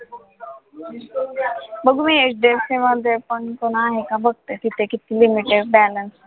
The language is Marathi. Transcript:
बघू मी HDFC मध्ये पण कोण आहे का बघते तिथे किती limit आहे balance आहे.